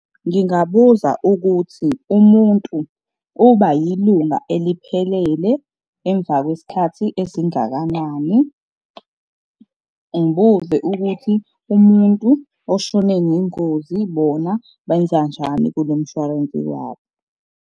Ngingabuza ukuthi umuntu uba yilunga eliphelele emva kwesikhathi esingakanani. Ngibuze ukuthi umuntu oshone ngengozi bona benzanjani kulo mshwarensi wabo.